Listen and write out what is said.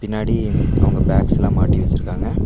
பின்னாடி அவங்க பேக்ஸ்லா மாட்டி வெச்சிருக்காங்க.